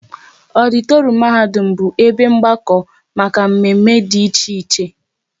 Ọditorum mahadum bụ ebe mgbakọ maka mme mme dị iche iche